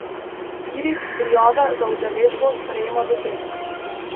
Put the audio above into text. Spirit prijave za udeležbo sprejema do petka.